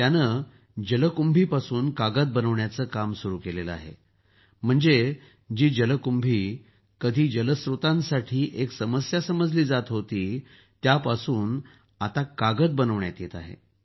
त्यानं जलकुंभीपासून कागद बनवण्याचं काम सुरू केलं आहे म्हणडे जी जलकुंभी कधी जलस्त्रोतांसाठी एक समस्या समजली जात होती त्यापासून आता कागद बनवण्यात येत आहे